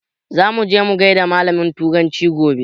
Za muje mu gaida malamin turanci gobe